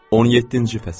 17-ci fəsil.